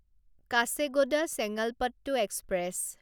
Kacheguda Chengalpattu express